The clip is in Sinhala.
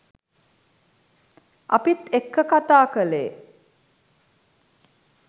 අපිත් එක්ක කතා කළේ.